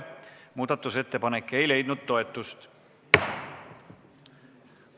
Muudatusettepanek ei leidnud toetust.